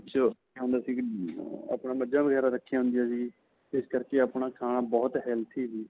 ਵਿੱਚ ਹੁੰਦਾ ਸੀ ਕਿ ਅਅ ਆਪਣਾ ਮੱਝਾਂ ਵਗੈਰਾਂ ਰਖਿਆ ਹੁੰਦਿਆ ਸੀ, ਇਸ ਕਰਕੇ ਆਪਣਾ ਖਾਣਾ ਬਹੁਤ healthy ਸੀ .